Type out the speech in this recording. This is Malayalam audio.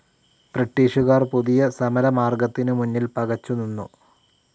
ബ്രിട്ടീഷുകാർ പുതിയ സമരമാർഗ്ഗത്തിനു മുന്നിൽ പകച്ചു നിന്നു.